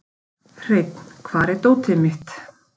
Hreinn, hvar er dótið mitt?